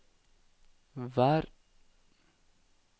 vær